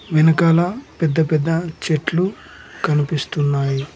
వెనకాల పెద్ద పెద్ద చెట్లు కనిపిస్తున్నాయి.